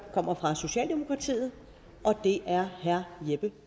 kommer fra socialdemokratiet og det er herre jeppe